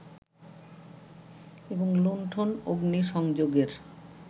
এবং লুন্ঠন-অগ্নিসংযোগের